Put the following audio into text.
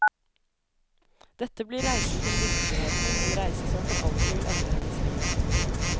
Dette blir reisen til virkeligheten, en reise som for alltid vil endre hennes liv.